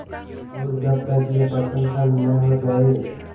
और जब तक यह प्रश्न हल न हो जाय